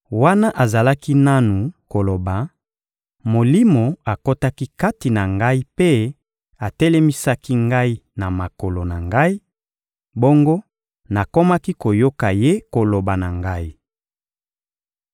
Wana azalaki nanu koloba, Molimo akotaki kati na ngai mpe atelemisaki ngai na makolo na ngai; bongo nakomaki koyoka Ye koloba na ngai.